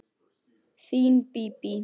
Þín Bíbí.